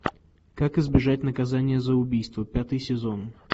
как избежать наказания за убийство пятый сезон